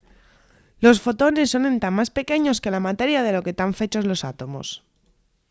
¡los fotones son entá más pequeños que la materia de lo que tán fechos los átomos!